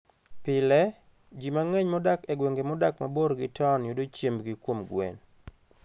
Pile, ji mang'eny modak e gwenge modak mabor gi taon yudo chiembgi kuom gwen.